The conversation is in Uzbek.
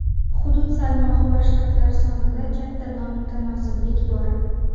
Hudud salmog‘i va shtatlar sonida katta nomutanosiblik bor.